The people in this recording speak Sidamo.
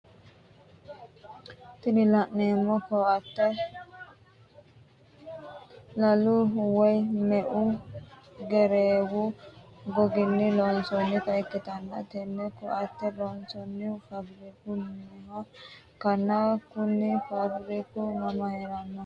Tini la'neemo ko"atte lalu woye me"unna gereewu goginni loonsoonnita ikkitanna tenne ko"atte losannohu faafiriku nooha ikkanna kuni faafiriki mama heeranno?